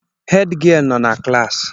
Hed gịel nọ na klassi